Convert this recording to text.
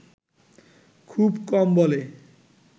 খুব কম বলে